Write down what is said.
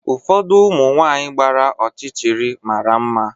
Ụfọdụ ụmụ nwanyị gbara ọchịchịrị mara mma.